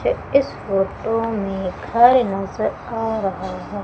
इस फोटो में घर आ रहा है।